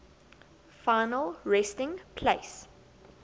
final resting place